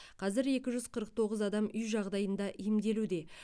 қазір екі жүз қырық тоғыз адам үй жағдайында емделуде